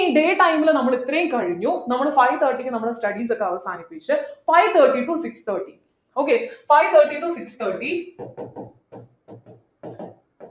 ഇനി day time ൽ നമ്മൾ എത്രയും കഴിഞ്ഞു നമ്മൾ five thirty ക്ക് നമ്മൾ studies ഒക്കെ അവസാനിപ്പിച്ച് five thirty to six thirty okay five thirty to six thirty